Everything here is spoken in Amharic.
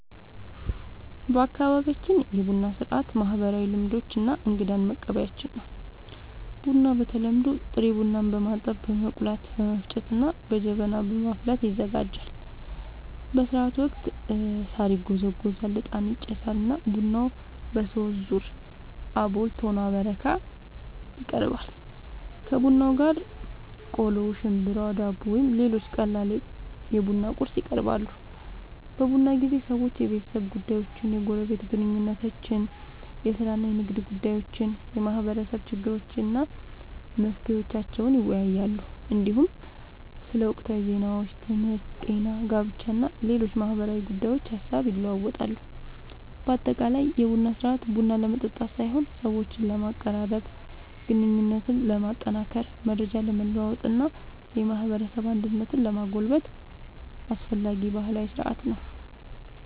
በአካባቢያችን የቡና ሥርዓት ማህበራዊ ልምዶች እና እንግዳን መቀበያችን ነው። ቡናው በተለምዶ ጥሬ ቡናን በማጠብ፣ በመቆላት፣ በመፍጨት እና በጀበና በማፍላት ይዘጋጃል። በሥርዓቱ ወቅት ሣር ይጎዘጎዛል፣ ዕጣን ይጨሳል እና ቡናው በሦስት ዙር (አቦል፣ ቶና እና በረካ) ይቀርባል። ከቡናው ጋር ቆሎ፣ ሽምብራ፣ ዳቦ ወይም ሌሎች ቀላል የቡና ቁርስ ይቀርባል። በቡና ጊዜ ሰዎች የቤተሰብ ጉዳዮችን፣ የጎረቤት ግንኙነቶችን፣ የሥራ እና የንግድ ጉዳዮችን፣ የማህበረሰብ ችግሮችን እና መፍትሄዎቻቸውን ይወያያሉ። እንዲሁም ስለ ወቅታዊ ዜናዎች፣ ትምህርት፣ ጤና፣ ጋብቻ እና ሌሎች ማህበራዊ ጉዳዮች ሐሳብ ይለዋወጣሉ። በአጠቃላይ የቡና ሥርዓት ቡና ለመጠጣት ሳይሆን ሰዎችን ለማቀራረብ፣ ግንኙነትን ለማጠናከር፣ መረጃ ለመለዋወጥ እና የማህበረሰብ አንድነትን ለማጎልበት አስፈላጊ ባህላዊ ሥርዓት ነው።